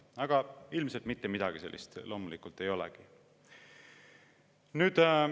Aga ilmselt midagi sellist ei olegi.